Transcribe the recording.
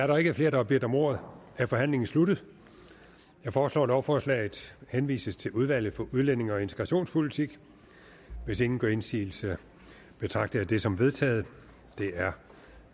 der ikke er flere der har bedt om ordet er forhandlingen sluttet jeg foreslår at lovforslaget henvises til udvalget for udlændinge og integrationspolitik hvis ingen gør indsigelse betragter jeg det som vedtaget det er